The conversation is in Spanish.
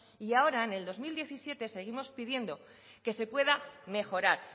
y ahora en el dos mil diecisiete seguimos pidiendo que se pueda mejorar